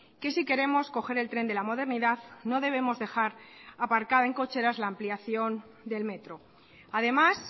que si queremos coger el tren de la modernidad no debemos dejar aparcada en cocheras la ampliación del metro además